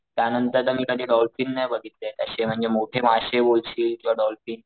त्या नंतर मी कधी डॉल्फिन नाही बघितले अशे म्हणजे मोठे माशे बोलशील किंवा डॉल्फिन,